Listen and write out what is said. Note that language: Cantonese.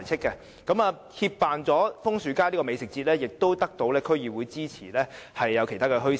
除了協辦楓樹街美食節外，我們亦得到區議會支持舉辦其他墟市。